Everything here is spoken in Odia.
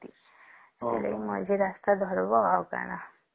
ମଝି ରାସ୍ତା ଧରିବା ଆଉ କଣ